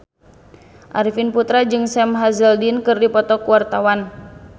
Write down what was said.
Arifin Putra jeung Sam Hazeldine keur dipoto ku wartawan